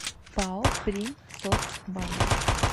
пао примсоцбанк